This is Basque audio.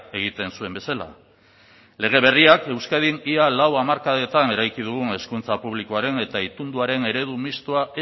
egiten zuen bezala lege berriak euskadin ia lau hamarkadetan eraiki dugun hezkuntza publikoaren eta itunduaren eredu mistoa